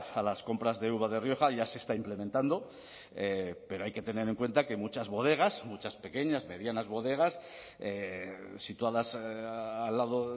a las compras de uva de rioja ya se está implementando pero hay que tener en cuenta que muchas bodegas muchas pequeñas medianas bodegas situadas al lado